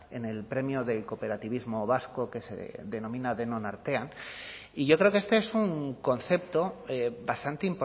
en el premio del cooperativismo vasco que se denomina denon artean y yo creo que este es un concepto bastante